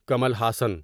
Kamal Haasan